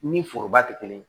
Ni foroba tɛ kelen ye